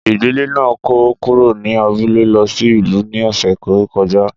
Ìdílé náà kó kúrò ní abúlé lọ sí ìlú ní ọ̀sẹ̀ tó kọjá.